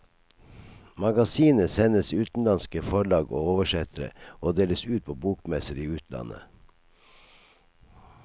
Magasinet sendes utenlandske forlag og oversettere, og deles ut på bokmesser i utlandet.